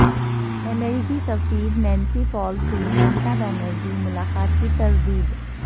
امریکی سفیر Nancy Powell سے ممتا بنرجی ملاقات کی تردید